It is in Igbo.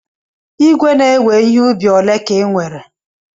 Ìgwè na-ewe ihe ubi ole ka ị nwere?